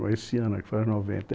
Esse ano é que faz noventa